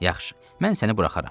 Yaxşı, mən səni buraxaram.